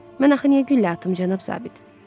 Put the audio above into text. Mən axı nə güllə atım, cənab zabit?